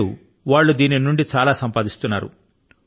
నేడు వారు దీని నుండి చాలా సంపాదిస్తున్నారు